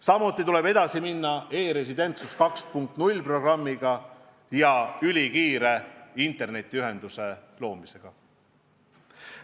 Samuti tuleb minna edasi programmiga "E-residentsus 2.0" ja ülikiire internetiühenduse loomisega.